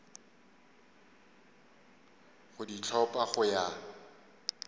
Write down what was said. go di hlopha go ya